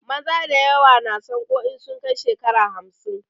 Maza dayawa na sanƙo in sun kai shekara hamsin